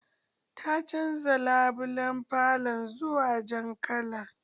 Ta canza labulan falo zuwa jan kala